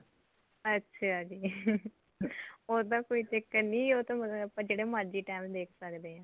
ਅੱਛਾ ਜੀ ਉਹ ਉਹਦਾ ਕੋਈ ਚੱਕਰ ਨੀ ਉਹ ਤਾਂ ਆਪਾਂ ਜਿਹੜੇ ਮਰਜੀ time ਦੇਖ ਸਕਦੇ ਆ